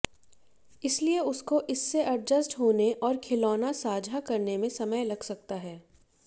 इसलिए उसको इससे एडजस्ट होने और खिलौना साझा करने में समय लग सकता है